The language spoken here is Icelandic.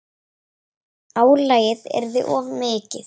Álagið yrði of mikið.